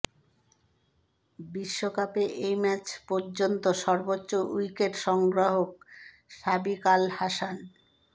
বিশ্বকাপে এই ম্যাচ পর্যন্ত সর্বোচ্চ উইকেট সংগ্রাহক সাকিব আল হাসান